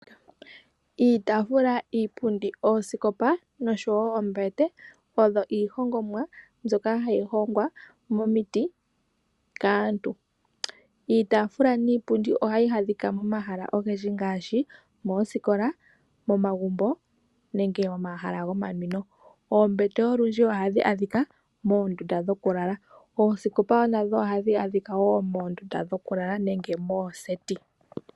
Iitafula, iipundi, oosikopa noshowo oombete odho iihongomwa mbyoka hayi hongwa momiti kaantu. Iitaafula niipundi ohayi adhika momahala ogendji ngaashi moosikola, momagumbo nenge momahala gomanwino. Oombete olundji ohadhi adhika moondunda dhokulala. Oosikopa nadho ohadhi adhika wo moondunda dhokulala nenge mooseti.